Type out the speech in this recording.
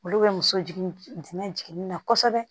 Olu bɛ muso jigin jiginni na kosɛbɛ